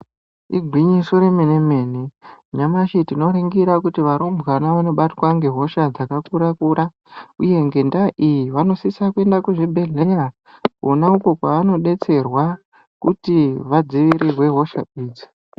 Igwinyiso remene-mene nyamshi tinoningira kuti varumbwana vanobatwa ngehosha dzakakura kura uye ngendaa iyi vanosisa kuenda kuzvibhedhlera kona uko kwavanodetserwa kuti vadzivirirwe hosha idzi.